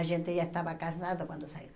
A gente já estava casado quando saiu.